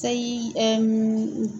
Sayi